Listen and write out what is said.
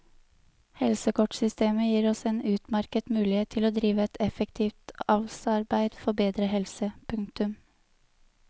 Helsekortsystemet gir oss en utmerket mulighet til å drive et effektivt avlsarbeid for bedre helse. punktum